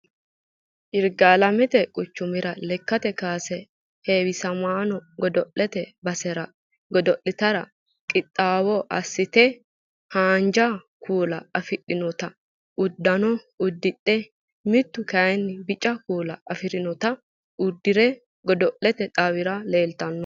Yirgaalamete quchumira lekkate kaase heewisamaano godo'lete basera godo'lete qixxaawo assite haanja kuula afidhinota uddano uddidhe mittu kayinni Bica kuula afidhinota uddire godo'lete xawira leeltanno